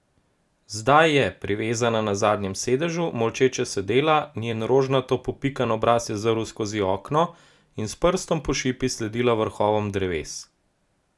Zdaj je, privezana na zadnjem sedežu, molče sedela, njen rožnato popikan obraz je zrl skozi okno, in s prstom po šipi sledila vrhovom dreves.